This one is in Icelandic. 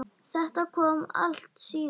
Þetta kom allt síðar.